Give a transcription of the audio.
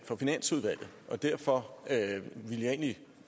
for finansudvalget derfor vil jeg egentlig